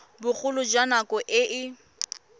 bogolo jwa nako e e